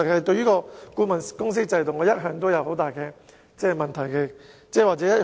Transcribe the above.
對於顧問公司制度，我一向也抱很大疑問和異議。